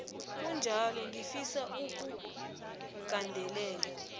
kunjalo ngifisa ukugandelela